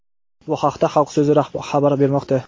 Bu haqda "Xalq so‘zi" xabar bermoqda.